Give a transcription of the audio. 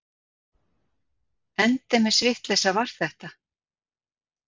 Endemis vitleysa var þetta!